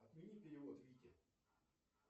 отмени перевод вите